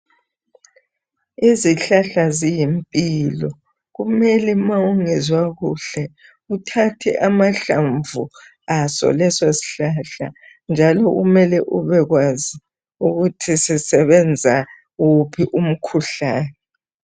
Izihlahla ziyimpilo kumele uma ungezwa kuhle uthathe amahlamvu aso leso sihlahla njalo kumele ubekwanzi ukuthi sisebenza uphi umkhuhlane.